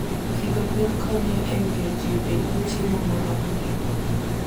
Pidho gwen konyo e miyo ji obed gi chiemo moromogi.